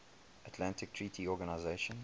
atlantic treaty organisation